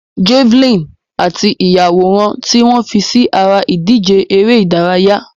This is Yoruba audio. Javelin àti ìyàwòrán tí wọ́n fi sí ara ìdíje eré ìdárayá.